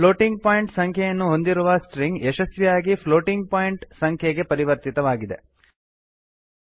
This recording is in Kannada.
ಪ್ಲೋಟಿಂಗ್ ಪಾಯಿಂಟ್ ಸಂಖ್ಯೆಯನ್ನು ಹೊಂದಿರುವ ಸ್ಟ್ರಿಂಗ್ ಯಶಸ್ವಿಯಾಗಿ ಪ್ಲೋಟಿಂಗ್ ಪಾಯಿಂಟ್ ಸಂಖ್ಯೆಗೆ ಪರಿವರ್ತಿತವಾಗಿದೆ